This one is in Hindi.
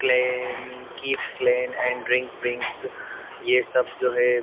Klein keep clean and drink wings ये सब जो है।